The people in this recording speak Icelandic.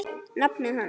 nafni hans.